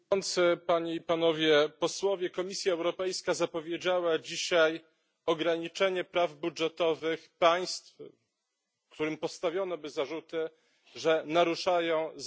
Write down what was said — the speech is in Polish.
Komisja Europejska zapowiedziała dzisiaj ograniczenie praw budżetowych państw, którym postawiono by zarzuty, że naruszają zasadę praworządności.